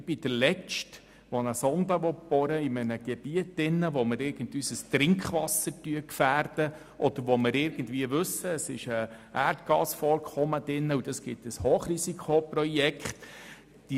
Ich bin der Letzte, der eine Sonde in einem Gebiet bohren will, wo das Trinkwasser gefährdet würde oder von welchem man weiss, dass ein Erdgasvorkommen vorhanden ist, was ein Hochrisikoprojekt bedeuten würde.